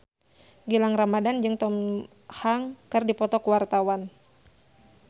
Gilang Ramadan jeung Tom Hanks keur dipoto ku wartawan